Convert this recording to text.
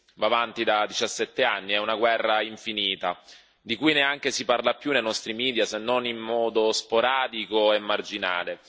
Va avanti da 17 anni, è una guerra infinita di cui neanche si parla più nei nostri media, se non in modo sporadico e marginale.